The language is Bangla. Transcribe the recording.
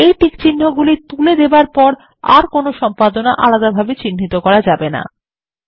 এই টিকচিহ্নগুলি তুলে দেবার পর আর কোন সম্পাদনা আলাদাভাবে চিহ্নিত করা যায় না